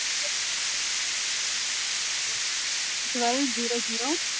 Twelve zero zero